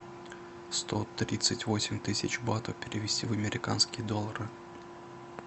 сто тридцать восемь тысяч батов перевести в американские доллары